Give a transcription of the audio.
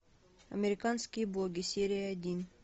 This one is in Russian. американские боги серия один